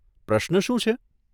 પ્રશ્ન શું છે?